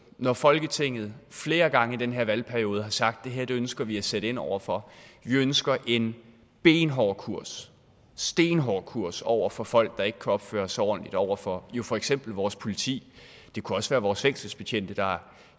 når folketinget flere gange i den her valgperiode har sagt at det her ønsker vi at sætte ind over for vi ønsker en benhård kurs stenhård kurs over for folk der ikke kan opføre sig ordentligt over for for eksempel vores politi det kunne også for vores fængselsbetjente der